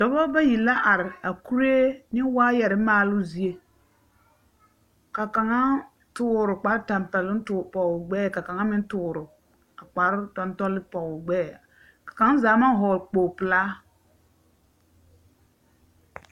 Dɔbɔ bayi la are a kuree ne waayɔre maale zie. Ka kaŋa toore kpar-tampɛloŋ toore pɔgoo gbɛɛ ka kaŋa meŋ toore a kpar-tantɔle pɔgoo gbɛɛ, ka kaŋ zaa maŋ hɔɔgle kpogle pelaa.